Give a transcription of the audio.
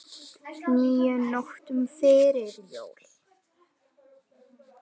níu nóttum fyrir jól